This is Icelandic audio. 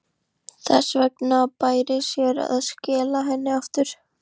Þess vegna bæri sér að skila henni aftur.